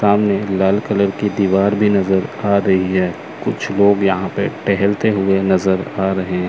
सामने लाल कलर की दीवार भीं नजर आ रहीं हैं कुछ लोग यहाँ पे टेहलते हुए नजर आ रहें--